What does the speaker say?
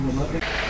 Muharribəyə getdi.